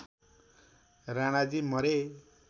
राणाजी मरे